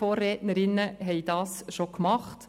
Die Vorrednerinnen haben dies bereits getan.